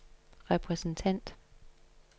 repræsentant